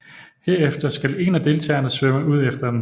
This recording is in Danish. Herefter skal en af deltagerne svømme ud efter den